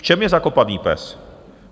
V čem je zakopaný pes?